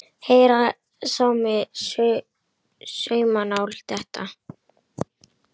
Heyra mátti saumnál detta.